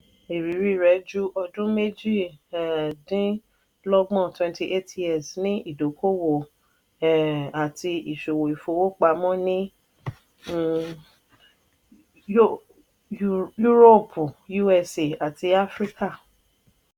ìrírí rẹ̀ ju ọdún méjì um -dín -lọ́gbọ̀n ( twenty eight years)ní ìdókòwò um àti ìṣòwò ìfowópamọ́ ní um yúróòpù usa àti áfíríkà.